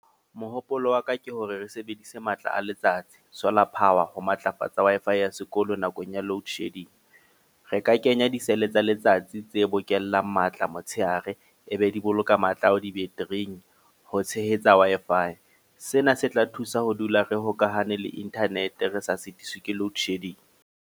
Mohopolo wa ka ke hore re sebedise matla a letsatsi, solar power. Ho matlafatsa Wi-Fi ya sekolo nakong ya load shedding. Re ka kenya di-cell tsa letsatsi tse bokellang matla motshehare. E be di boloka matla ao di-battery-ing ho tshehetsa Wi-Fi. Sena se tla thusa ho dula re hokahane le internet re sa sitiswi ke load shedding.